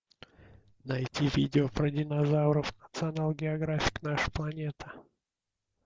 найти видео про динозавров национал географик наша планета